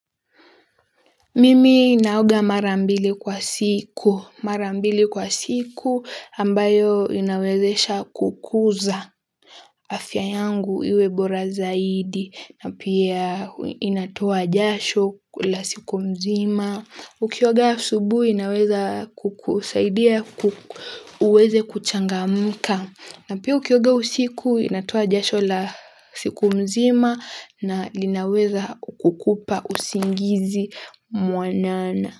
Mimi naoga marambili kwa siku. Marambili kwa siku ambayo inawezesha kukuza afya yangu iwe bora zaidi na pia inatoa jasho la siku mzima. Na ukioga asubuhi inaweza kukusaidia uweze kuchangamka. Na pia ukioga usiku inatoa jasho la siku mzima na linaweza kukukupa usingizi mwanana.